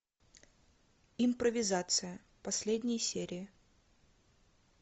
импровизация последние серии